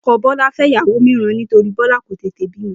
O̩ko̩ Bó̩lá fé̩ ìyàwó mìíràn nítorí Bó̩lá kò tètè bímo